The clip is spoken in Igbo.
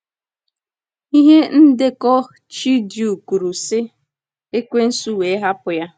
Ihe ndekọ Chidiew kwuru, sị: “ Ekwensu wee hapụ ya.”